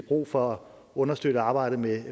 brug for at understøtte arbejdet med